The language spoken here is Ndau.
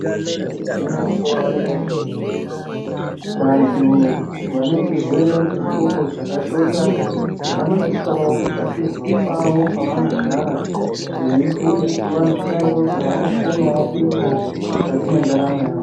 Igwinyiso remenemene vantu vane chirwere chendxondo dzakashota vanosisa kutsvakirwa pavo pavanogara veifundiswa mushando dzavanokonawo kuita mukati mwendaramo yavo.